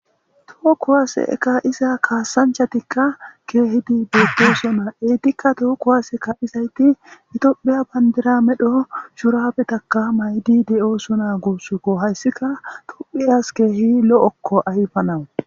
Too kowaase eka'iza kaasanchatikka keehidi beettosonaa eedikka too kowaase kaa'izayti itophiya bandiramedho shuraabetaka maydi de'osona guussuko hayssika tuphiyas keehi lo'okko ayfanawu.